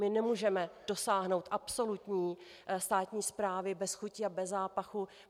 My nemůžeme dosáhnout absolutní státní správy bez chuti a bez zápachu.